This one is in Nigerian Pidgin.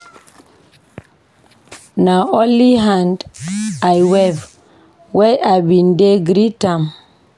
Na only hand I wave wen I ben dey greet am.